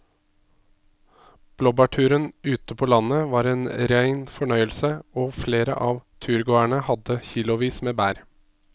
Blåbærturen ute på landet var en rein fornøyelse og flere av turgåerene hadde kilosvis med bær.